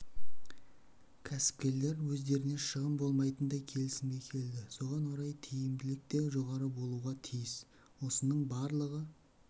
кәсіпкерлер өздеріне шығын болмайтындай келісімге келді соған орай тиімділік те жоғары болуға тиіс осының барлығы